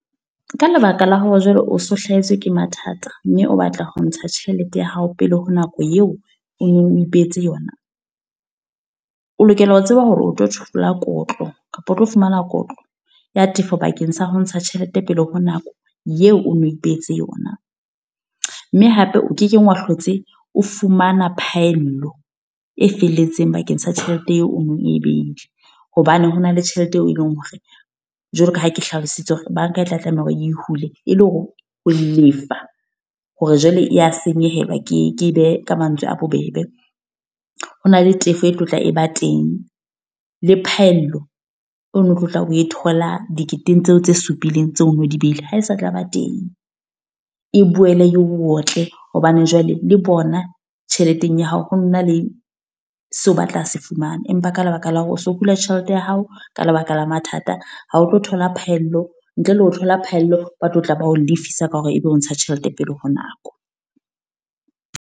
Ka lebaka la hore jwale o so hlahetswe ke mathata. Mme o batla ho ntsha tjhelete ya hao pele ho nako eo, o no ipehetse yona. O lokela ho tseba hore o tlo thola kotlo kapa o tlo fumana kotlo ya tefo bakeng sa ho ntsha tjhelete pele ho nako, ye o no ipehetse yona. Mme hape o kekeng wa hlotse o fumana phaello, e felletseng bakeng sa tjhelete eo o nong e beile. Hobane hona le tjhelete eo e leng hore, jwalo ka ha ke hlalositse hore banka e tla tlameha hore e hule. E le hore ho lefa, hore jwale ya senyehelwa ke ke behe ka mantswe a bobebe. Ho na le tefo e tlo tla e ba teng, le phaello e no tlo tlang o e thola diketeng tseo tse supileng tse ono di behile, ha e sa tlaba teng. E boele e o otle, hobane jwale le bona tjheleteng ya hao. Ho na le seo ba tla se fumana. Empa ka lebaka la hore o so hula tjhelete ya hao, ka lebaka la mathata. Ha ho tlo thola phaello, ntle le ho thola phaello. Ba tlo tla ba ho lefisa ka hore ebe o ntsha tjhelete pele ho nako.